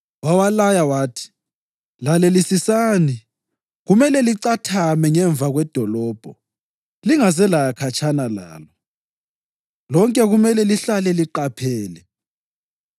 Wawalaya wathi, “Lalelisisani, kumele licathame ngemva kwedolobho. Lingaze laya khatshana lalo. Lonke kumele lihlale liqaphele.